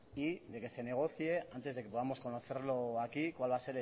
y que se negocie antes de que podamos conocerlo aquí cuál va a